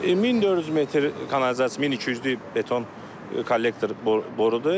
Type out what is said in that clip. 1400 metr kanalizasiya, 1200-lük beton kollektor borudur.